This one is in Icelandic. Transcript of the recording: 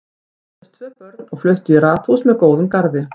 Þau eignuðust tvö börn og fluttu í raðhús með góðum garði.